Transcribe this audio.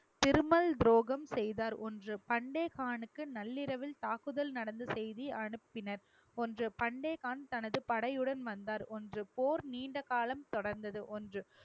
திருமல் துரோகம் செய்தார் ஒன்று பெண்டே கானுக்கு நள்ளிரவில் தாக்குதல் நடந்த செய்தி அனுப்பினர் ஒன்று பெண்டே கான் தனது படையுடன் வந்தார் ஒன்று போர் நீண்ட காலம் தொடர்ந்தது ஒன்று